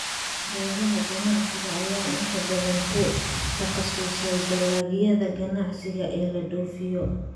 Beeraha ganacsiga ayaa inta badan ku takhasusay dalagyada ganacsiga ee la dhoofiyo.